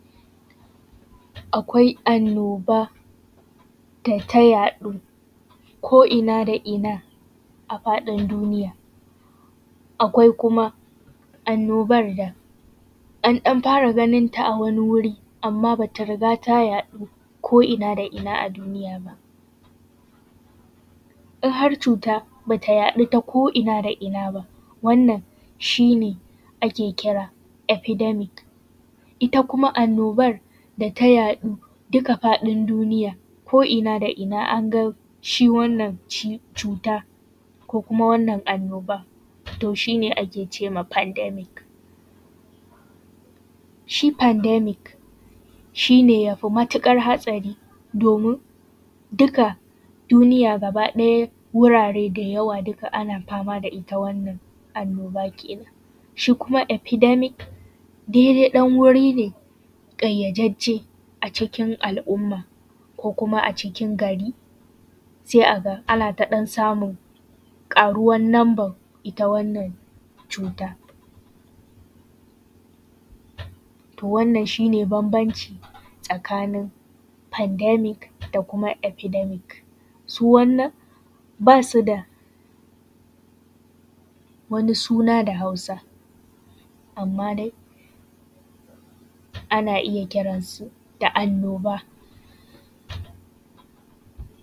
Akwai annoba da ta haɗu ko’na da ko’ina a faɗin duniya, akwai kuma annobar da an ɗan fara ganin ta a wani wuri, amma ba ta riga ta yaɗu ba a ko’ina da ko’ina a duniya ba. In har cut aba ta yaɗu ta ko’ina da ko’ina ba, wannan shi ne ake kira efedamic, ita kuma annibar da ta yaɗu duka duniya ko’ina da ko’ina an ga shi wannan ci cuta, ko kuma wannan annoba to shi ne ake cewa fandemic. Shi fandemic shi ne ya matuƙar hatsari domin, duka duniya gaba ɗaya wurwre da yawa duka ana fama da ita wannan annoba kenan. Shi kuma efedamic daidai ɗan wuri ne ƙayyadajje a cikin al’umma ko kuma a cikin gari, sai a ga ana ta ɗan samun ƙaruwan numban ita wannan cuta. To wannan shi ne bambanci tsakanin fandemic da kuma efedemic, su wannan bas u da wani suna da Hausa. Amma dai ana iya kiransu da annoba.